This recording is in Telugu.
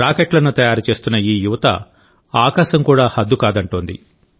రాకెట్లను తయారు చేస్తున్నఈ యువత ఆకాశం కూడా హద్దు కాదంటోంది